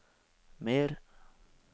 mer